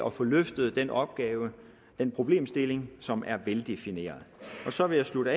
at få løftet den opgave den problemstilling som er veldefineret så vil jeg slutte